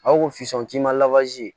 A ko ko fison k'i ma